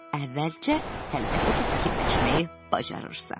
Əvvəlcə, əlbəttə ki, fikirləşməyi bacarırsa.